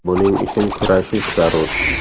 Buning uchun kurashish zarur.